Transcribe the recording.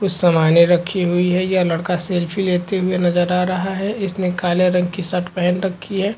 कुछ सामने रखी हुई है यह लड़का सेल्फी लेते नजर आ रहा है इसने काले रंग की शर्ट पहेन रखी हैं।